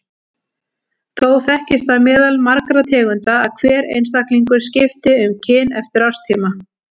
Þó þekkist það meðal margra tegunda að hver einstaklingur skipti um kyn eftir árstíma.